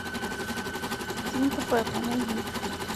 свинка пеппа найди